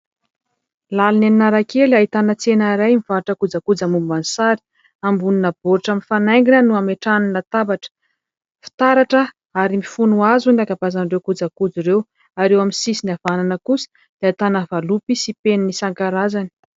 Lalana eny Analakely, ahitana tsena iray mivarotra kojakoja momban'ny sary; ambonina baoritra mifanaingina no ametrahany latabatra, fitaratra ary mifono hazo ny ankabeazan'ireo kojakoja ireo ary eo amin'ny sisiny havanana kosa dia ahitana valopy sy penina isankarazany.